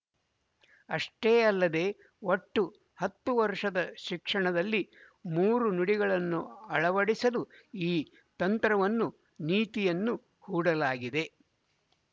ಅಷ್ಟೇ ಯಲ್ಲದೇ ಒಟ್ಟು ಹತ್ತು ವರುಶದ ಶಿಕ್ಷಣದಲ್ಲಿ ಮೂರು ನುಡಿಗಳನ್ನು ಅಳವಡಿಸಲು ಈ ತಂತ್ರವನ್ನುನೀತಿಯನ್ನು ಹೂಡಲಾಗಿದೆ